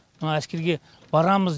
мына әскерге барамыз